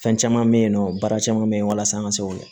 Fɛn caman bɛ yen nɔ baara caman bɛ yen walasa an ka se o